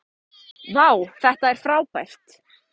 vá þetta er frábært